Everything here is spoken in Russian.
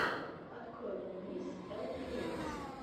открой мне мисс элпиэс